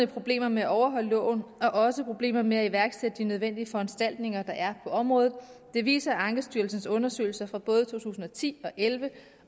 problemer med at overholde loven og også problemer med at iværksætte de nødvendige foranstaltninger der er på området det viser ankestyrelsens undersøgelser fra både to tusind og ti to og elleve